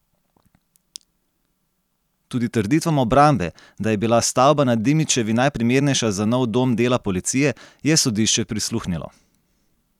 Tudi trditvam obrambe, da je bila stavba na Dimičevi najprimernejša za nov dom dela policije, je sodišče prisluhnilo.